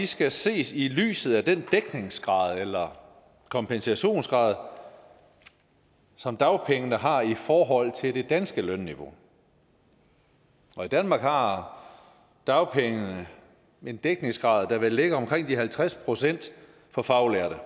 skal ses i lyset af den dækningsgrad eller kompensationsgrad som dagpengene har i forhold til det danske lønniveau og i danmark har dagpengene en dækningsgrad der vel ligger omkring de halvtreds procent for faglærte